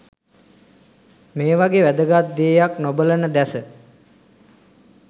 මේවගෙ වැදගත් දේයක් නොබලන දැස